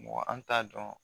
Mɔgɔ an t'a dɔn